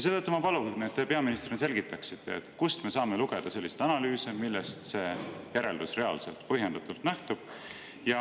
Seetõttu ma palun, et te peaministrina selgitaksite, kust me saame lugeda selliseid analüüse, millest see järeldus reaalselt ja põhjendatult lähtub.